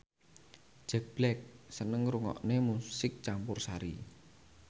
Jack Black seneng ngrungokne musik campursari